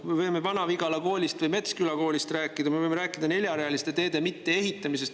Me võime Vana-Vigala koolist või Metsküla koolist rääkida, me võime rääkida neljarealiste teede mitteehitamisest.